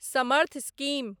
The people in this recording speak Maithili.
समर्थ स्कीम